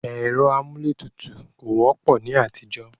ẹ̀rọ amúlé tutù kò wọ́pọ̀ ní àtijọ́.